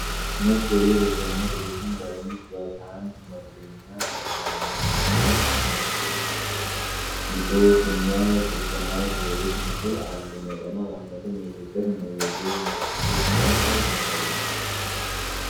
ነጭ የዶቭ የሰውነት ሎሽን ጠርሙስ በፓምፕ መክደኛ ቀርቧል። መለያው ላይ" የሚል ጽሑፍና የኮኮናት ዘይት ምስል አሉ። መጠኑ 400 ሚሊ ሊትር ነው። የዶቭ ምልክት ከላይ ይታያል።